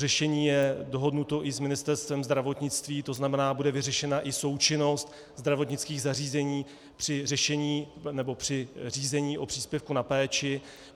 Řešení je dohodnuto i s Ministerstvem zdravotnictví, to znamená, bude vyřešena i součinnost zdravotnických zařízení při řízení o příspěvku na péči.